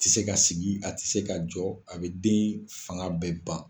A tɛ se ka sigi a tɛ se ka jɔ a bɛ den in fanga bɛɛ ban.